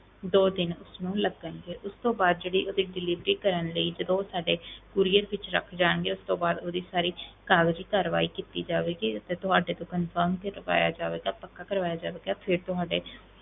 ਦੋ ਦਿਨ ਉਸਨੂੰ ਲੱਗਣਗੇ, ਉਸ ਤੋਂ ਬਾਅਦ ਜਿਹੜੀ ਉਹਦੀ delivery ਕਰਨ ਲਈ ਜਦੋਂ ਉਹ ਸਾਡੇ courier ਵਿੱਚ ਰੱਖ ਜਾਣਗੇ ਉਸ ਤੋਂ ਬਾਅਦ ਉਹਦੀ ਸਾਰੀ ਕਾਗਜ਼ੀ ਕਾਰਵਾਈ ਕੀਤੀ ਜਾਵੇਗੀ ਅਤੇ ਤੁਹਾਡੇ ਤੋਂ confirm ਕਰਵਾਇਆ ਜਾਵੇਗਾ, ਪੱਕਾ ਕਰਵਾਇਆ ਜਾਵੇਗਾ ਫਿਰ ਤੁਹਾਡੇ,